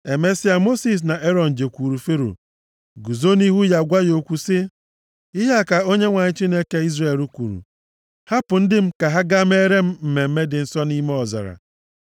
Emesịa, Mosis na Erọn jekwuuru Fero guzo nʼihu ya gwa ya okwu sị, “Ihe a ka Onyenwe anyị, Chineke Izrel kwuru, ‘Hapụ ndị m ka ha gaa meere m mmemme dị nsọ nʼime ọzara.’ ”